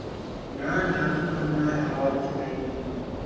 না এত ঠাণ্ডা আর হাওয়া দিচ্ছে বাহিরে প্রচুর